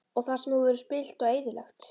Og það sem þú hefur spillt og eyðilagt?